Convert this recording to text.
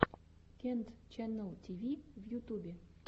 кент ченнал тиви в ютубе